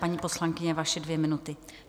Paní poslankyně, vaše dvě minuty.